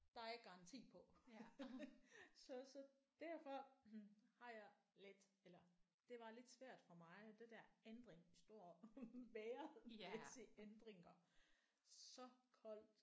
Der er garanti på så så derfor har jeg lidt eller det var lidt svært for mig det der ændring stor vejrmæssige ændringer så koldt